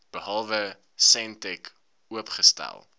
behalwe sentech oopgestel